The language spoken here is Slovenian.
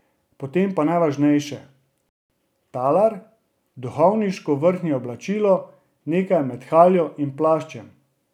Potem pa najvažnejše, talar, duhovniško vrhnje oblačilo, nekaj med haljo in plaščem.